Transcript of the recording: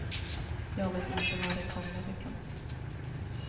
Jag vet inte var det kommer ifrån.